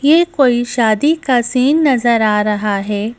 यह कोई शादी का सीन नजर आ रहा है।